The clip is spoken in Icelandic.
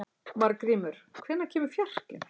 Margrímur, hvenær kemur fjarkinn?